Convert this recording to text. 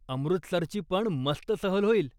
अमृतसरची पण मस्त सहल होईल.